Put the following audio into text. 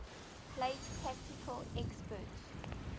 place technical experts